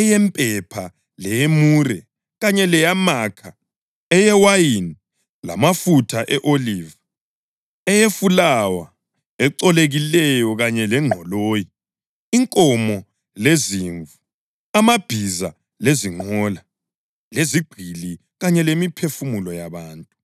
eyempepha leyemure kanye leyamakha, eyewayini lamafutha e-oliva, eyefulawa ecolekileyo kanye lengqoloyi; inkomo lezimvu; amabhiza lezinqola lezigqili kanye lemiphefumulo yabantu.